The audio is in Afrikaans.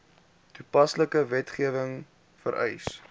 toepaslike wetgewing vereis